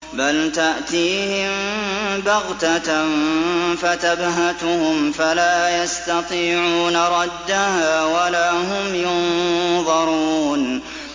بَلْ تَأْتِيهِم بَغْتَةً فَتَبْهَتُهُمْ فَلَا يَسْتَطِيعُونَ رَدَّهَا وَلَا هُمْ يُنظَرُونَ